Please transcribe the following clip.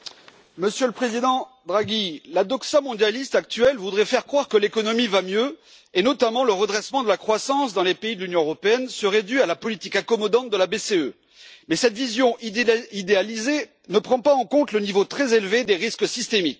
Monsieur le Président, Monsieur le Président Draghi, la doxa mondialiste actuelle voudrait faire croire que l'économie va mieux, et notamment que le redressement de la croissance dans les pays de l'Union européenne serait dû à la politique accommodante de la BCE, mais cette vision idéalisée ne prend pas en compte le niveau très élevé des risques systémiques.